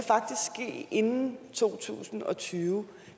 inden to tusind og tyve